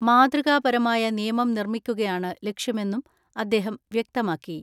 മാതൃകാപരമായ നിയമം നിർമ്മിക്കുകയാണ് ലക്ഷ്യമെന്നും അദ്ദേഹം വ്യക്തമാക്കി.